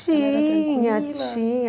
Tinha, tinha. Tranquila